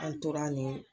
An tora nin